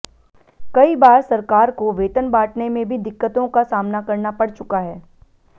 कई बार सरकार को वेतन बांटने में भी दिक्कतों का सामना करना पड़ चुका है